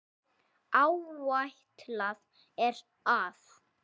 Áætlað er að